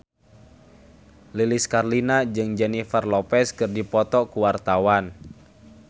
Lilis Karlina jeung Jennifer Lopez keur dipoto ku wartawan